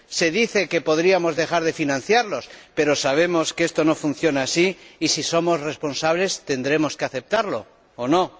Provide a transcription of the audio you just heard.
Se dice que podríamos dejar de financiarlos, pero sabemos que esto no funciona así y, si somos responsables, tendremos que aceptarlo, ¿o no?